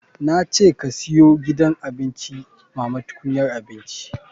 Na ce ka siyo gidan abinci mama tukunyar abinci.